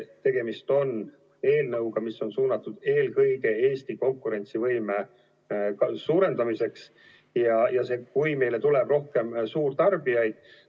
Tegemist on eelnõuga, mis on suunatud eelkõige Eesti konkurentsivõime suurendamiseks ja selleks, et meile tuleks rohkem suurtarbijaid.